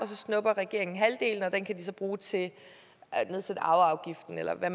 så snupper regeringen halvdelen og den kan de så bruge til at nedsætte arveafgiften eller hvad